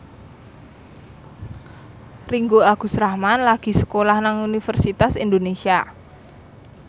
Ringgo Agus Rahman lagi sekolah nang Universitas Indonesia